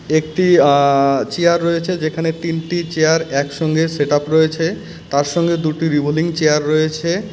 একটি অ্য চেয়ার রয়েছে যেখানে তিনটি চেয়ার একসঙ্গে সেটাপ রয়েছে তার সঙ্গে দুটি রিভোলিং চেয়ার রয়েছে .